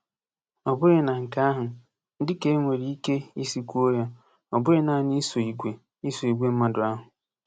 Ọ bụghị na nke ahụ, dị ka e nwere ike isi kwuo ya, ọ bụghị naanị iso igwe iso igwe mmadụ ahụ?